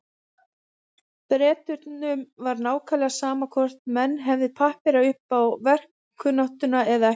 Bretunum var nákvæmlega sama hvort menn hefðu pappíra upp á verkkunnáttuna eða ekki.